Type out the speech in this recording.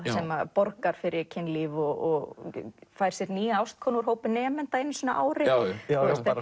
borgar fyrir kynlíf og fær sér nýja ástkonu úr hópi nemenda einu sinni á ári bara